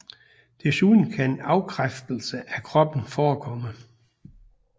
Desuden kan afkræftelse af kroppen forekomme